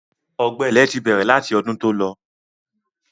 Ọ̀gbẹlẹ̀ ti bẹ̀rẹ̀ láti ọdún tó lọ.